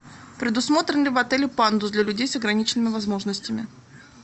предусмотрен ли в отеле пандус для людей с ограниченными возможностями